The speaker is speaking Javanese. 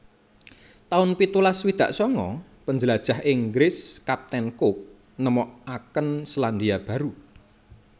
taun pitulas swidak sanga Panjlajah Inggris Kapten Cook nemokaken Selandia Baru